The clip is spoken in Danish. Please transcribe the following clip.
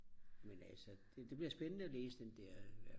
men altså det bliver spændende at læse den der